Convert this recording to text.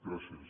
gràcies